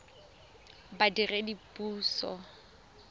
badiredipuso